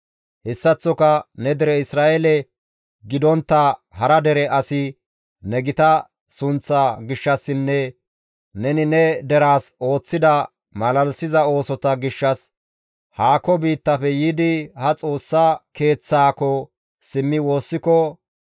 «Hessaththoka ne dere Isra7eele gidontta hara dere asi ne gita sunththaa gishshassinne neni ne deraas ooththida malalisiza oosota gishshas, haako biittafe yiidi ha Xoossa Keeththaako simmi woossiko,